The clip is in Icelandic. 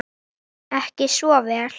Ekki svo vel?